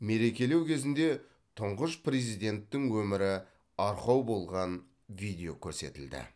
мерекелеу кезінде тұңғыш президенттің өмірі арқау болған видео көрсетілді